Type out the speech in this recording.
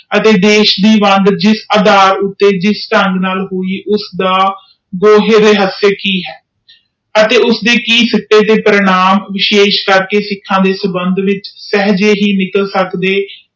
ਅਤੇ ਦੇਸ਼ ਦੇ ਵੰਦਰਤਾ ਕਿਸ ਅਧਾਰ ਤੇ ਕਿਸ ਢੰਗ ਨਾਲ ਹੋਈ ਅਤੇ ਉਸਦੇ ਕਿ ਪਰਿਣਾਮ ਨੇ ਸ਼ਹਿ ਕੇਕ ਸਿੱਖਾਂ ਦੇ ਸੰਭੰਡ ਵਿਚ ਦਿਤਾ